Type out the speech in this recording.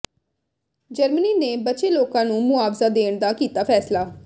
Germany ਨੇ ਬਚੇ ਲੋਕਾਂ ਨੂੰ ਮੁਆਵਜ਼ਾ ਦੇਣ ਦਾ ਕੀਤਾ ਫੈਸਲਾ